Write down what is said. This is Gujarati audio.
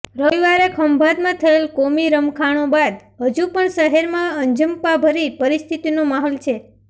રવિવારે ખંભાતમાં થયેલ કોમી રમખાણો બાદ હજુ પણ શહેરમાં અંજપાભરી પરિસ્થિતિનો માહોલ છે